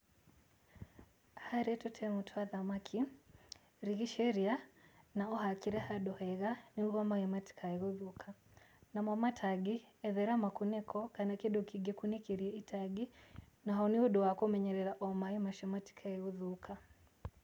Harĩ tũtemu twa thamaki, rigicĩria, na ũhakĩre handũ hega nĩguo maaĩ matikae gũthũka. Namo matangi ethera makunĩko, kana kĩndũ kĩngĩkunĩkĩria itangi, naho nĩũndũ wa kũmenyerera o maai macio matikae gũthũka.